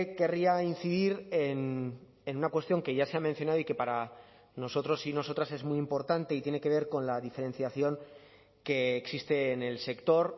querría incidir en una cuestión que ya se ha mencionado y que para nosotros y nosotras es muy importante y tiene que ver con la diferenciación que existe en el sector